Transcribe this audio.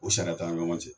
O sariya t'an ni ɲɔgɔn cɛ